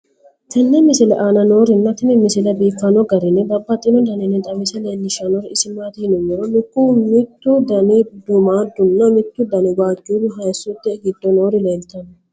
tenne misile aana noorina tini misile biiffanno garinni babaxxinno daniinni xawisse leelishanori isi maati yinummoro lukkuwu mittu danni duumaadu nna mittu danna waajju hayiissote giddo noori leelittanno